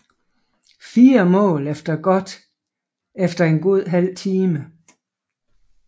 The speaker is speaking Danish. Fire mål efter en god halv time